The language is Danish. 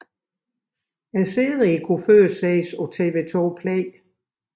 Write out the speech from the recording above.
Serien kunne tidligere ses på TV 2 Play